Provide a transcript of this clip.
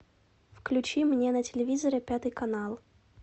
включи мне на телевизоре пятый канал